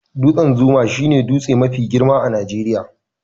Dutsen zuma shi ne dutse mafi girma a Najeriya